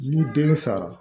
Ni den sara